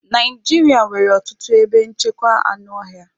Naijiria nwere ọtụtụ ebe nchekwa anụ ọhịa.